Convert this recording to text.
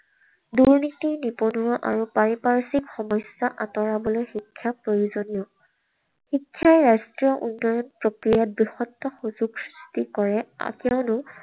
দুৰ্নীতি, নিবনুৱা আৰু পাৰিপাৰ্শ্বিক সমস্যা আঁতৰাবলৈ শিক্ষা প্ৰয়োজনীয়। শিক্ষাই ৰাষ্ট্ৰ উন্নয়ণ প্ৰক্ৰিয়াত বৃহত্তৰ সুযোগ কৰে, কিয়নো